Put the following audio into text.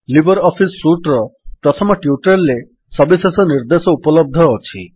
Libre office suite ର ପ୍ରଥମ tutorial ରେ ସବିଶେଷ ନିର୍ଦ୍ଦେଶ ଉପଲବ୍ଧ ଅଛି